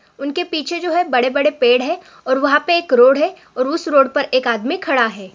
उनके पीछे जो है बड़े-बड़े पेड़ है और वहां पर एक रोड है और उस रोड पर एक आदमी खड़ा है।